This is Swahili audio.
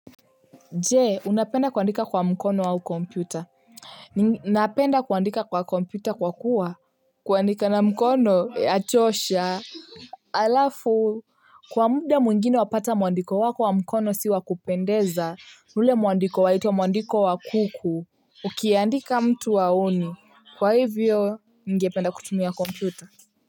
Jee unapenda kuandika kwa mkono au kompyuta ninapenda kuandika kwa kompyuta kwa kuwa kuandika na mkono yachosha alafu kwa muda muingine wapata muandiko wako wa mkono siwa kupendeza ule muandiko wa hito muandiko wa kuku ukiandika mtu haoni kwa hivyo ningependa kutumia kompyuta.